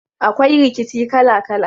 Akwai rikici kala kala.